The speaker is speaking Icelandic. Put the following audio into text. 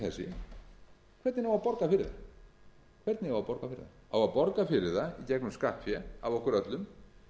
þessi hvernig á að borga fyrir það á að borga fyrir það í gegnum skattfé af okkur öllum